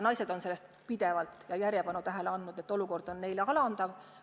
Naised on sellele pidevalt tähelepanu osutanud, et olukord on neile alandav.